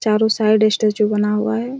चारों side statue बना हुआ हैं।